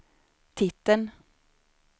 titeln